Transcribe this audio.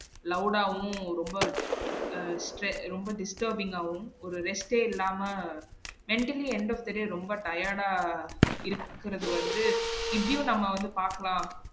Loud ஆவும் ரொம்ப அஹ் stre~ ரொம்ப stre~ disturbing ஆவும் ஒரு rest ஏ இல்லாம mentally எந்த பெரிய ரொம்ப tired ஆ இருக்குறது வந்து இப்டியும் நாம வந்து பாக்கலாம்